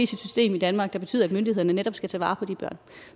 system i danmark der betyder at myndighederne netop skal tage vare på de børn